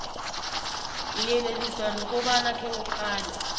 uyeleliswa nokobana khewuqale